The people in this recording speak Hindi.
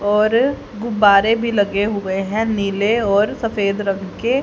और गुब्बारे भी लगे हुए हैं नीले और सफेद रंग के--